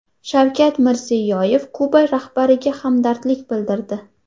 Shavkat Mirziyoyev Kuba rahbariga hamdardlik bildirdi.